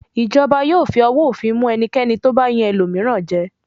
Ìjọba yóò fi owó òfin mú ẹnikẹ́ni tó bá yan ẹlòmíràn jẹ.